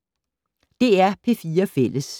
DR P4 Fælles